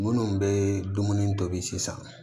Minnu bɛ dumuni tobi sisan